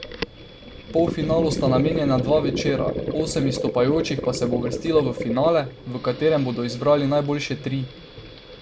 Polfinalu sta namenjena dva večera, osem izstopajočih pa se bo uvrstilo v finale, v katerem bodo izbrali najboljše tri.